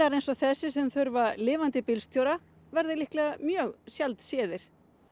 eins og þessi sem þurfa lifandi bílstjóra verða líklega mjög sjaldséðir